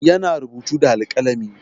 Yana rubutu da alƙalami.